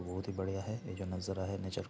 बहुत ही बढ़िया है ये जो नज़ारा है नेचर --